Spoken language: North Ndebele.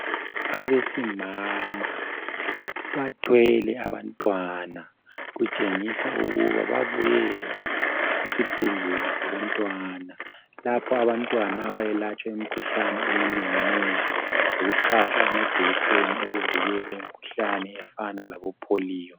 Abesimama bathwele abantwana, kutshengisa ukuba babuye esibhedlela sabantwana lapho abantwana abayelatshwa imkhuhlane eminenginengi lokuhlatswa amajekiseni okuvikela imkhuhlane efana labopolio.